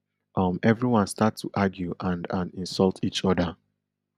um everyone start to argue and and insult each oda